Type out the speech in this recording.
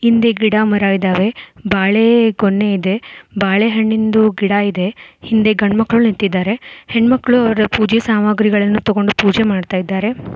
ಹಿಂದೆ ಗಿಡಮರಗಳು ಇದವೆ ಬಾಳೆಗೊನೆ ಇದೆ ಬಾಳೆಹಣ್ಣಿಂದು ಗಿಡ ಇದೆ ಹಿಂದೆ ಗಂಡು ಮಕ್ಕಳ ನಿಂತಿದ್ದಾರೆ ಹೆಣ್ಣುಮಕ್ಕಳು ಅವರ ಪೂಜೆ ಸಾಮಾನ್ ಗಳನ್ನು ತಗೊಂಡು ಪೂಜೆ ಮಾಡ್ತಾ ಇದ್ದಾರೆ.